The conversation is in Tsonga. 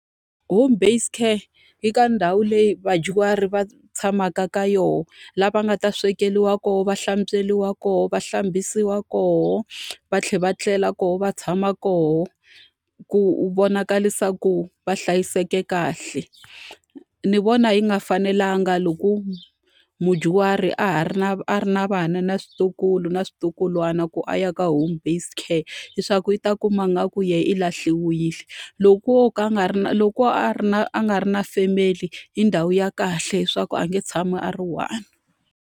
Home based care yi ka ndhawu leyi vadyuhari va tshamaka ka yona, laha va nga ta swekeriwa kona, va hlantsweriwa kona, va hlambisiwa kona, va tlhela va tlela kona, va tshama kona, ku vonaka leswaku va hlayiseke kahle. Ni vona yi nga fanelanga loko mudyuhari a ha ri na a ri na vana na vatukulu na switukulwana ku a ya ka home based care, leswaku i ta kuma ingaku yena i lahliwile. Loko o ka a nga ri na loko a ri na a nga ri na family, i ndhawu ya kahle leswaku a nge tshami a ri one.